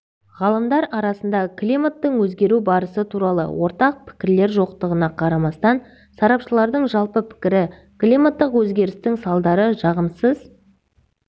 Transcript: ғалымдар арасында климаттың өзгеру барысы туралы ортақ пікірлер жоқтығына қарамастан сарапшылардың жалпы пікірі климаттық өзгерістің салдары жағымсыз